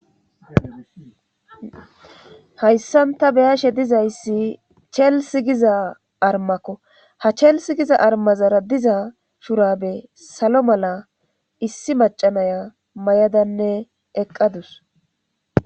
Hayssan tani beyashe dizayssi chelssigiza armakko ha chelssi giza armazara diza shurabe salo mala issi macanaya mayadanne eqqadus